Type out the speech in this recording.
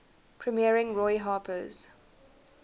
premiering roy harper's